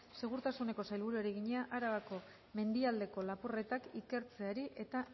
segurtasuneko sailburuari egina arabako mendialdeko lapurretak ikertzeari eta